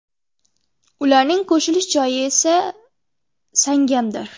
Ularning qo‘shilish joyi esa Sangamdir.